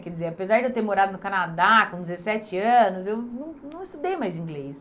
Quer dizer, apesar de eu ter morado no Canadá com dezessete anos, eu não não estudei mais inglês.